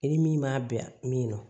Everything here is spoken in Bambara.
I ni min b'a bɛn min ma